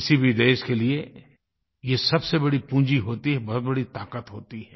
किसी भी देश के लिए ये सबसे बड़ी पूँजी होती है एक बहुत बड़ी ताक़त होती है